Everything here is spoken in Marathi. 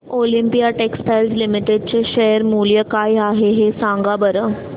ऑलिम्पिया टेक्सटाइल्स लिमिटेड चे शेअर मूल्य काय आहे सांगा बरं